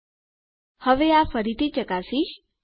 હવે હું આની ફરીથી ચકાસીશ